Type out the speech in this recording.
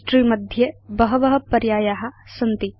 history मध्ये बहव पर्याया सन्ति